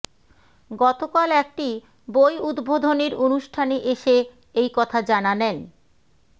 গতকাল একটি বই উদ্বোধনের অনুষ্ঠানে এসে এই কথা জানালেন